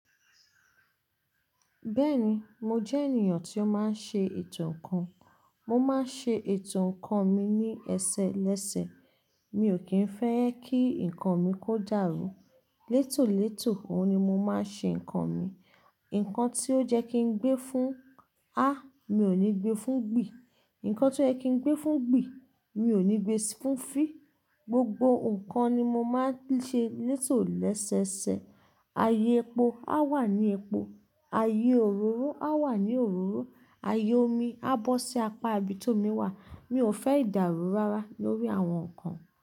Bẹ́ẹ̀ni, mo jẹ́ ènìyàn tí ó máa ń ṣe ètò ǹkan. Mo máa ń ṣe ètò ǹkan mi ní ẹsẹ lẹ́sẹ. Mi ò kí ń fẹ́ kí ǹkan mi kó dàrú. Létòlétò, òun ni mo máa ń ṣe ǹkan mi. Ǹkan tí ó jẹ́ kí gbé fún, á, mi ò ní gbe fún gbì. Ǹkan tí ó jẹ́ kí gbé fún gbì, mi ò ní gbe fún fí. Gbogbo ǹkan ni mo máa ń ṣe létò lẹ́sẹsẹ. Ayé epo á wà ní epo. Ayé òróró á wà ní òróró. Ayé omi á bọ́ sí apá ibi tó mi wà. Mi ò fẹ́ ìdàrù rárá lórí àwọn ǹkan.